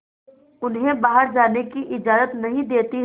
उन्हें बाहर जाने की इजाज़त नहीं देती है